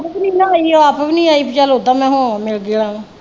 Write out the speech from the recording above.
. ਆਪ ਵੀ ਨਈਂ ਆਈ ਵੀ ਓਦਾਂ ਮਾਹੌਲ ਮਿਲ ਗਿਆ।